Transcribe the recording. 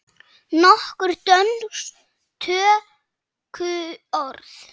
Nokkur dönsk tökuorð